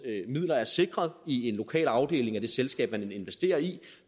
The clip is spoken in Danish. midler er sikret i en lokal afdeling af det selskab man investerer i